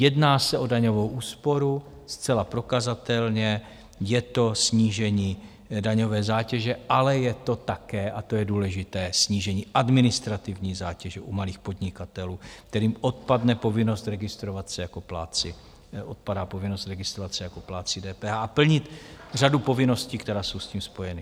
Jedná se o daňovou úsporu, zcela prokazatelně je to snížení daňové zátěže, ale je to také, a to je důležité, snížení administrativní zátěže u malých podnikatelů, kterým odpadá povinnost registrovat se jako plátci DPH a plnit řadu povinností, které jsou s tím spojeny.